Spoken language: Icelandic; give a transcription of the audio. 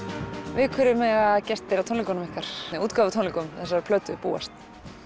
við hverju mega gestir á tónleikunum ykkar útgáfutónleikum þessarar plötu búast